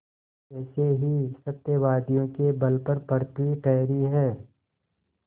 ऐसे ही सत्यवादियों के बल पर पृथ्वी ठहरी है